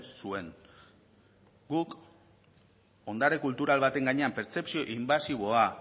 zuen guk ondare kultura baten gainean pertzepzio inbasiboa